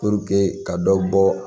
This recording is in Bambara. ka dɔ bɔ